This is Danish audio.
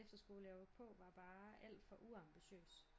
Efterskole jeg var på var bare alt for uambitiøs